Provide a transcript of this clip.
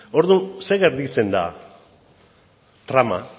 orduan zer gelditzen da trama